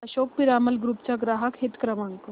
Ashok Piramal group चा ग्राहक हित क्रमांक